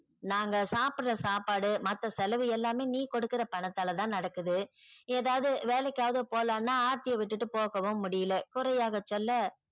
நாங்க சாப்புற சாப்பாடு மத்த செலவு எல்லாமே நீ கொடுக்கிற பணத்தால தான் நடக்குது ஏதாவது வேலைக்காவது போலானா ஆர்த்திய விட்டுட்டு போகவும் முடியல குறையாகச் சொல்ல